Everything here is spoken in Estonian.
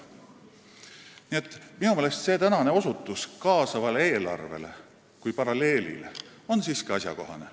Nii et minu meelest oli tänane osutus kaasavale eelarvele kui paralleelile siiski asjakohane.